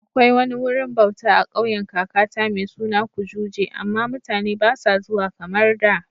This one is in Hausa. Akwai wani wurin bauta a kauyen kakata mai suna Kujuje, amma mutane ba sa zuwa kamar da